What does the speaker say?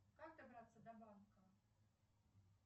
как добраться до банка